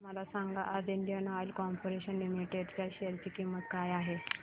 मला सांगा आज इंडियन ऑइल कॉर्पोरेशन लिमिटेड च्या शेअर ची किंमत काय आहे